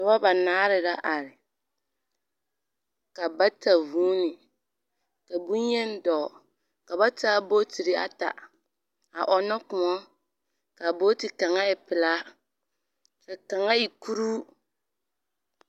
Dɔbɔ banaare la are. Ka bata vuuni, ka boŋyen dɔɔ, ka ba taa bootiri ata a ɔnnɔ kõɔ, ka booti kaŋa e pelaa, ka kaŋa e kuruu.